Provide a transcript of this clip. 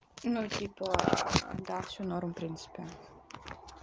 ну типа да всё норм принципе